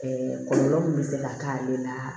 kɔlɔlɔ min bɛ se ka k'ale la